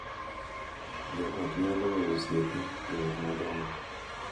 Jo ot nyalo weyo osiepe, joot madongo,